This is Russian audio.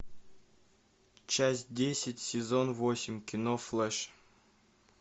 часть десять сезон восемь кино флэш